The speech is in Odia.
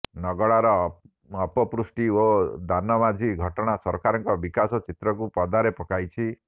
ନଗଡାର ଅପପୁଷ୍ଟି ଓ ଦାନ ମାଝୀ ଘଟଣା ସରକାରଙ୍କ ବିକାଶ ଚିତ୍ରକୁ ପଦାରେ ପକାଇଛି